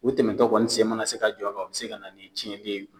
U tɛmɛntɔ kɔni sen mana se ka jɔ a kan u bɛ se ka na ni cɛnli ye.